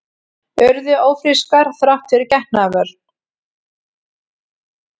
Urðu ófrískar þrátt fyrir getnaðarvörn